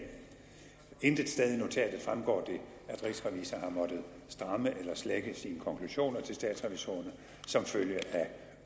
intet sted af notatet fremgår det at rigsrevisor har måttet stramme eller slække sine konklusioner til statsrevisorerne som følge af